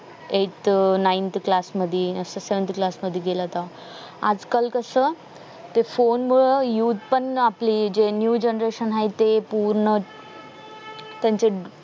eight ninth class मध्ये असं seventh class मध्ये गेला होता आजकाल कस ते फोन मूळ use पण आपले जे new generation आहे ते पूर्ण त्यांचे